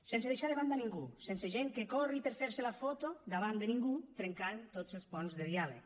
sense deixar de banda ningú sense gent que corri per fer se la foto davant de ningú trencant tots els ponts de diàleg